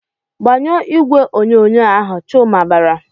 "Gbanyụọ igwe onyonyo ahụ!" Chuma bara.